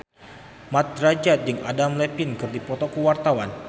Mat Drajat jeung Adam Levine keur dipoto ku wartawan